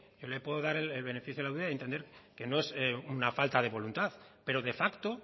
yo le puedo dar el beneficio de la duda entender que no es una falta de voluntad pero de facto